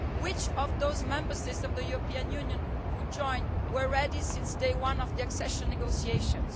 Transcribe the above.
Which of those Member States of the European Union who joined were ready from day one of the accession negotiations?